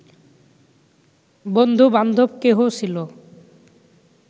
বন্ধুবান্ধব কেহ ছিল